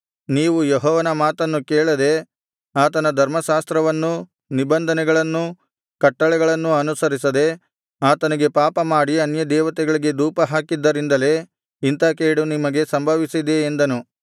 ನೀವು ಯೆಹೋವನ ಮಾತನ್ನು ಕೇಳದೆ ಆತನ ಧರ್ಮಶಾಸ್ತ್ರವನ್ನೂ ನಿಬಂಧನೆಗಳನ್ನೂ ಕಟ್ಟಳೆಗಳನ್ನೂ ಅನುಸರಿಸದೆ ಆತನಿಗೆ ಪಾಪ ಮಾಡಿ ಅನ್ಯದೇವತೆಗಳಿಗೆ ಧೂಪಹಾಕಿದ್ದರಿಂದಲೇ ಇಂಥಾ ಕೇಡು ನಿಮಗೆ ಸಂಭವಿಸಿದೆ ಎಂದನು